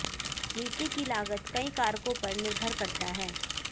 नीति की लागत कई कारकों पर निर्भर करता है